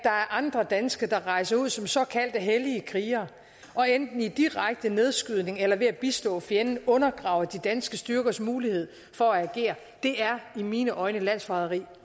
andre danske der rejser ud som såkaldte hellige krigere og enten i direkte nedskydning eller ved at bistå fjenden undergraver de danske styrkers mulighed for at agere det er i mine øjne landsforræderi